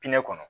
Pinɛ kɔnɔ